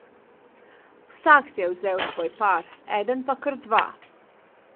Vsak si je vzel svoj par, eden pa kar dva.